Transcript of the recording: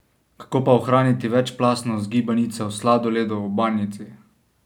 Kako pa ohraniti večplastnost gibanice v sladoledu v banjici?